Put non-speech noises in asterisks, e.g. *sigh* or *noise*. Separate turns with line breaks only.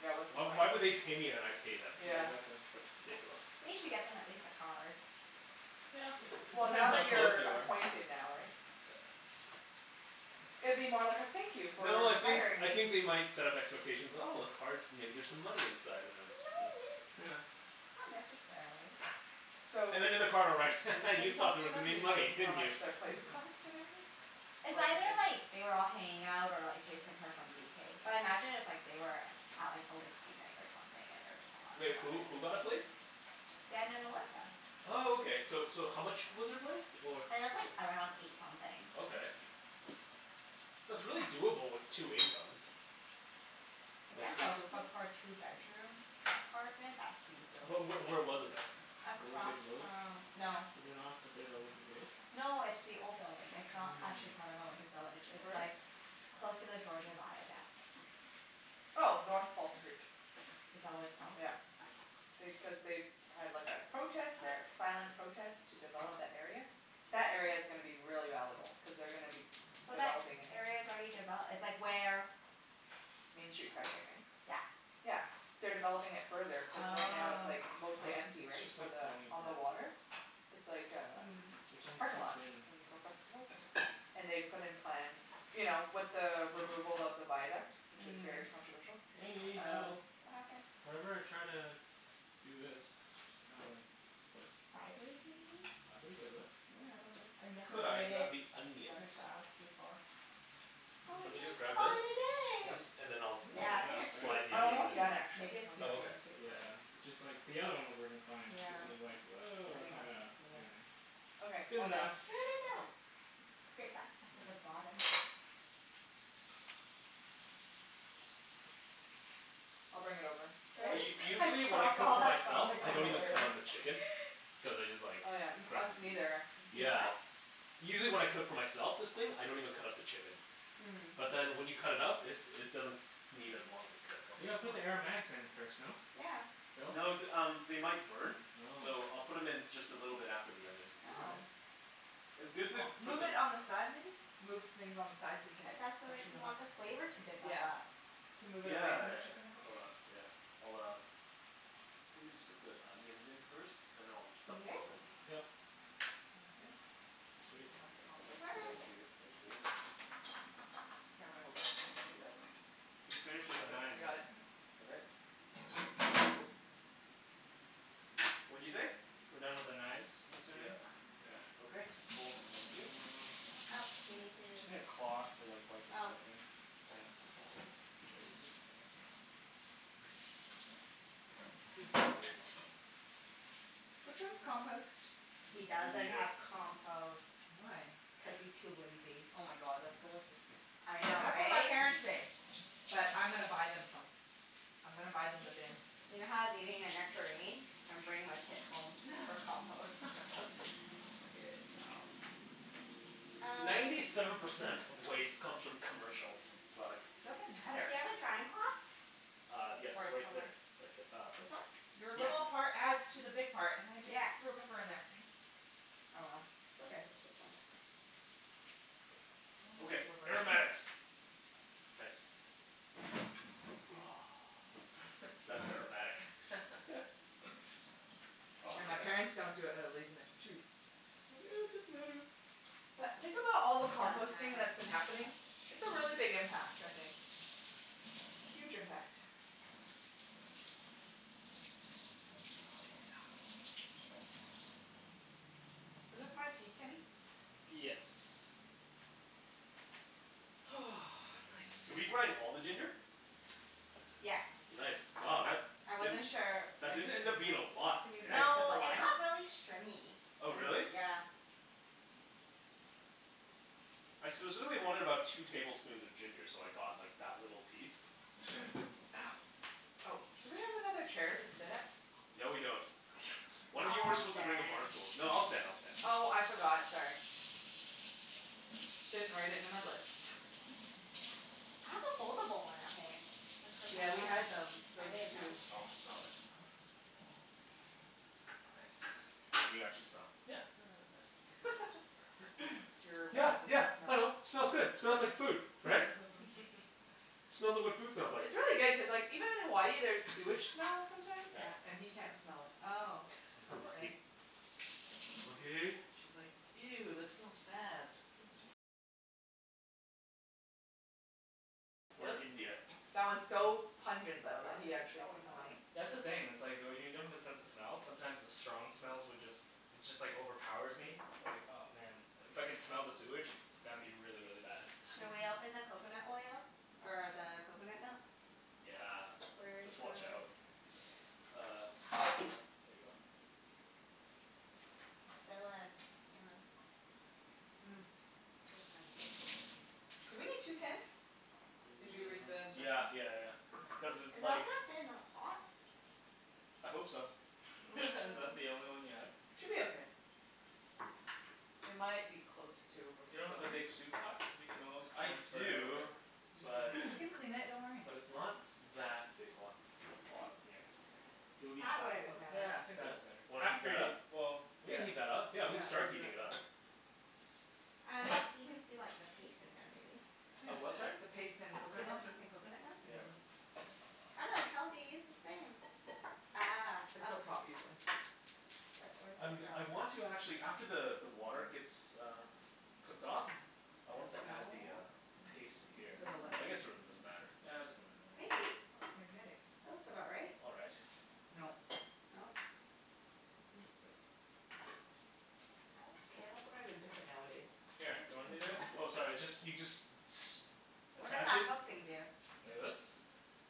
Yeah, what's the point?
Why would they pay me and I pay them?
Yeah.
*inaudible* that's why.
That's ridiculous.
They should get them at least a card.
It
Well,
depends
now
how
that
close
you're
you are.
acquainted now, right?
Yeah.
It'd be more like a thank you for
No, I think
hiring
I
me.
think they might set up expectations, "Oh, a card, maybe there's some
No,
money inside," and then, yeah.
may-
*laughs*
not necessarily.
So,
And then in the card I'll write, "Ha ha, you
Jason
thought
talked
there
to
was gonna
them. Do
be
you know
money,
how
didn't you?"
much their place cost and everything?
*noise*
It's either like,
*inaudible*
they were all hanging out or like Jason heard from BK. But I imagine it was like they were out like on whiskey night or something and they were just talking
Like
about
who?
it.
Who got a place?
Dan and Melissa.
Oh, okay. So so how much was their place or?
It was like around eight something.
Okay, that's really doable with two incomes.
I
Like
guess
eight
so,
something?
but for a two bedroom apartment that seems
But
really
wh-
steep.
where was it though?
Olympic
Across
Village.
from, no.
Is it not considered Olympic Village?
No, it's the old building. It's not actually
Mm.
part of Olympic Village.
I see.
It's
Where is
like
it?
close to the Georgia Viaduct.
Oh. North False Creek.
Is that what it's called?
Yeah. They, cuz they had like a protest there. Silent protest to develop that area. That area's gonna be really valuable cuz they're gonna be
But that
developing it.
area's already devel- it's like where
Main Street SkyTrain, right?
Yeah.
Yeah. They're developing it further cuz right now it's
Oh.
like
Oh,
mostly empty,
it's
right?
just
For
like
the,
falling
on
apart.
the water? It's like a
Mm.
This
just
one's
parking
too
lot.
thin.
And for festivals. And they've put in plans, you know, with the removal of the viaduct, which is very
Mm.
controversial,
Wenny,
um
help.
What happened?
Whenever I try to do this it just kinda like splits.
Sideways, maybe?
Sideways like this?
Yeah, I dunno. I never
Could I
braided
grab the onions?
lemongrass before.
Do
Or
you want
Mm.
me to
just
just grab
call
this?
it a
At
day.
Yep.
least, and then
I think
I'll
that's
I'll
Yeah, I
like
think
half,
it's too,
right?
slide the
oh
I'm
maybe it's
onions
almost
in?
too,
done, actually.
maybe it's
One
too
Oh,
second.
thin
okay.
to braid.
Yeah, it just like, the other one was working fine but
Yeah.
this one's like, woah,
I
that's
mean,
not
let's,
gonna,
yeah.
anything.
Okay.
Good
All done.
enough.
Good enough. Let's just grate that stuff at the
Yeah.
bottom.
I'll bring it over.
Did
Phil?
U-
I
usually
just *laughs*
when I
drop
cook
all
for
that
myself
garlic
I
on the
don't even
*inaudible*
way
pretty
over?
cut up the
much.
chicken.
*laughs*
Cuz I just like
Oh, yeah. *noise* Us
grab the piece.
neither, actually.
You
Yeah.
what?
Usually when I cook for myself, this thing, I don't even cut up the chicken.
Mm.
But then when you cut it up it it doesn't need as long to cook.
You
Okay.
You
gotta put the
wanna
aromatics
*inaudible*
in first, no?
Yeah.
Phil?
No th- um, they might burn.
Oh.
So I'll put 'em in just a little bit after the onions.
All
Oh.
right.
It's good to
Well,
put
move it
them
on the side, maybe? Move things on the side so you can
But that's what,
freshen
you
them up.
want the flavor
Yeah.
to
Yeah.
develop.
Could move it
Yeah
away
yeah
from the
yeah.
chicken a bit.
Hold on. Yeah. I'll uh Let me just get the onions in first, and then I'll
You
dump
good?
those in.
Yep.
Sounds good. I
Sweet.
Bend
can help you
this
compost.
over.
Thank you. Thank you.
Here, let me hold it.
Yep.
You've finished with the
Got it?
I
knives, eh?
got it.
Yeah.
Okay. Woop. What'd you say?
We're done with the knives, I'm assuming?
Yeah.
Yeah.
Okay, cool. Thank you.
Uh
Oh, do you need to
Just need a cloth to like wipe the
Oh.
stuffing. Yeah. Should I use this? I guess so.
Excuse me.
*noise*
Which one's compost?
He
Me
doesn't
neither.
have compost.
Why?
Yeah.
Cuz he's too lazy.
Oh my god, that's the worst excuse.
I know,
That's what my
right?
parents say. But I'm gonna buy them some. I'm gonna buy them the bin.
You know how I was eating a nectarine? I'm bringing my pit home
*laughs*
for compost.
*laughs*
*laughs*
Good job.
Uh
Ninety seven percent of waste comes from commercial products.
Doesn't matter.
Do you have a drying cloth?
Uh yes.
Or
Right there.
somewhere
Right th- uh
This one?
Your
Yeah.
little part adds to the big part. And I just
Yeah.
threw a pepper in there. Damn it.
Oh well, it's okay. It's just one pepper.
One
Okay.
sliver.
*noise*
Aromatics. Nice.
Oopsies.
*noise* That's aromatic. *laughs*
*laughs*
Oh,
Yeah, my parents
yeah.
don't do it outta laziness, too. Think, "Oh, it doesn't matter." But think about all the
It does
composting
matter.
that's been happening. It's a really big impact, I think. Huge impact. Oh
Oh yeah.
no. Is this my tea, Kenny?
Yes. *noise*
Did we
Nice.
grind all the ginger?
Yes.
Nice. Wow, that
I wasn't
didn't,
sure. I
that didn't
just did
end
it
up being a lot,
Can use
hey?
that to cut
No,
the
it
lime?
got really stringy. It
Oh
was,
really?
yeah.
I specifically wanted about two tablespoons of ginger, so I got like that little piece.
*noise* Ow.
Oh, do we have another chair to sit at?
No, we don't. One
*noise*
of you were
I'll
supposed to bring a bar
stand.
stool. No, I'll stand. I'll stand.
Oh, I forgot. Sorry. Didn't write it in my list. *laughs*
I have a foldable one at home. I could
Yeah,
have
we had
brought that.
them,
I
those
didn't
too.
know.
Oh, smell that.
Nice.
Can you actually smell?
Yeah. Yeah, yeah, yeah, it
Nice.
smells good.
*laughs*
*noise*
Your
Yeah,
bad sense
yeah.
of
I
smell.
know. Smells good. Smells like food, right?
*laughs*
Smells like what food smells like.
It's really good
*noise*
cuz like, even in Hawaii there's
*noise*
sewage smell sometimes,
Yeah.
Yeah.
and he can't smell it.
Oh.
I
*noise*
know.
That's okay.
Lucky. Lucky.
She's like, "Ew, that smells bad."
Or India.
That one's so
Oh
pungent though that
god,
he
this is
actually
so
can smell
annoying.
it.
That's the thing, it's like oh y- when you don't have a sense of smell sometimes the strong smells would just it just like overpowers me. It's like, oh man. If I can smell the sewage it's gotta be really, really bad.
Shall we
Mhm.
open the coconut oil? Or the coconut milk?
Yeah.
Where's
Just
your
watch out. *noise* Uh there you go.
It's so uh, you know
Hmm. Looks fancy. Do we need two cans? Did you read
N-
the
yeah
instructions?
yeah yeah yeah.
Okay.
Cuz
Is it all
like
gonna fit in that pot?
I hope so.
*laughs* Is that the
Mm.
only one you have?
Should be
Yep.
okay. We might be close to
You don't have a
overspilling.
big soup pot? Cuz we can always
I
transfer it over.
do,
He just
but
doesn't, we can clean it. Don't worry.
but it's not that big, hold on, it's on the bottom here. It'll be
That would've
that
been
one.
better.
Yeah, I think that'd
Yeah.
be better.
Wanna heat
After
that
y-
up?
well,
We can
yeah.
heat that up.
Yeah,
Yeah, we can
let's
start
do
heating it
that.
up.
Um y- you can do like a paste in there, maybe?
Yeah.
A what, sorry?
The paste and
Do
coconut
the
milk.
paste in coconut milk and
Yeah.
then *noise* How the hell do you use this thing? Ah,
It's
oh.
up top, usually.
But where does
I'm g-
this
I
go?
want to actually, after the the water gets uh cooked off,
Hmm.
I wanted to
Hmm,
add the uh
no.
paste to here. But I guess it really doesn't matter.
Yeah, it doesn't really matter.
Maybe.
Oh, it's magnetic.
That looks about right.
All right.
Nope.
Nope.
I think it's like Oh, can openers are different nowadays. Where
Here,
are the
you want me to
simple
do it?
ones?
Oh sorry, it's just, you just s-
What does
attach
that
it
hook thing do?
Like this?